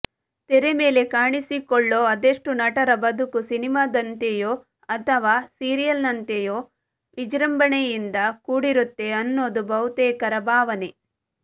ತೆರೆ ಮೇಲೆ ಕಾಣಿಸಿಕೊಳ್ಳೋ ಅದೆಷ್ಟೋ ನಟರ ಬದುಕು ಸಿನಿಮಾದಂತೆಯೋ ಅಥವಾ ಸೀರಿಯಲ್ನಂತೆಯೋ ವಿಜೃಂಭಣೆಯಿಂದ ಕೂಡಿರುತ್ತೆ ಅನ್ನೋದು ಬಹುತೇಕರ ಭಾವನೆ